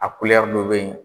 A dɔ be yen